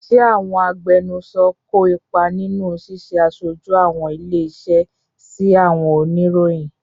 Ṣé àwọn agbẹnusọ kó ipa nínú ṣíṣe aṣojú àwọn ilé-iṣẹ́ sí àwọn oníròyìn?